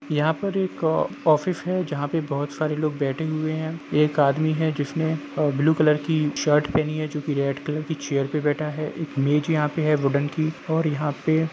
यहा पे एक ऑफिस जहा पे बहुत सारे लोग बैठे हुए हैं एक आदमी हैं जिस ने अ-ब्लू कलर की शर्ट पहेनी जो की रेड कलर की चेयर पे बेठा हैं एक मेज यहा पे है वुडेन की और यहा पे--